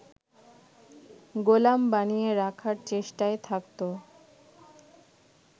গোলাম বানিয়ে রাখার চেষ্টায় থাকত